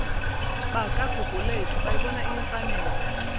bakagugulethu bayibona iyimfanelo